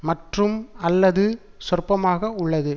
மற்றும் அல்லது சொற்பமாக உள்ளது